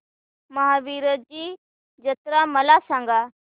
महावीरजी जत्रा मला सांग